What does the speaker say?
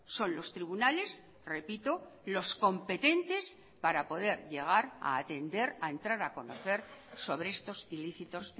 son los tribunales repito los competentes para poder llegar a atender a entrar a conocer sobre estos ilícitos